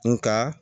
Nga